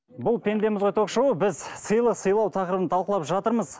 бұл пендеміз ғой ток шоуы біз сыйлық сыйлау тақырыбын талқылап жатырмыз